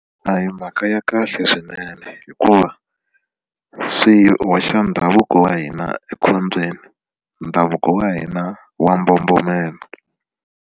A hi mhaka ya kahle swinene hikuva swi hoxa ndhavuko wa hina ekhombyeni ndhavuko wa hina wa mbombomela.